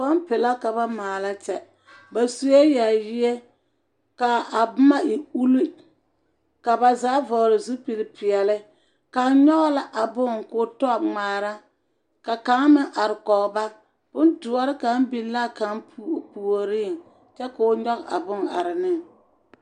Pɔmpe la ka ba maala kyɛ. Ba sue yaayie, ka a boma e ulli ka ba zaa vɔgele zupili peɛle. Kaŋ nyɔge la a bone ka o tɔ ŋmaara ka kaŋ meŋ are kɔge ba. Bondoɔre ka biŋ la a kaŋ puo… puoriŋ. Kyɛ ka o nyɔge a bone are neŋ.